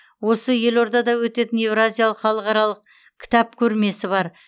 осы елордада өтетін еуразиялық халықаралық кітап көрмесі бар